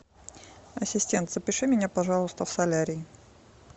ассистент запиши меня пожалуйста в солярий